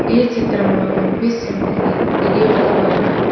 ఈ చిత్రంలో కనిపిస్తున్నవి ఇది ఒక భవనం.